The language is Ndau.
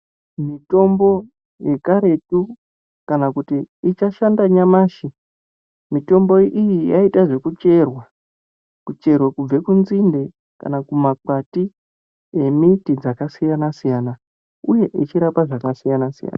Mitombo yekaretu, kana kuti ichashanda nyamashi, mitombo iyi yaiita zvekucherwa. Kucherwa kubve kunzinde kana kumakwati emiti dzakasiyana-siyana uye ichirapa zvakasiyana-siyana.